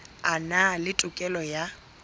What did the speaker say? a na le tokelo ya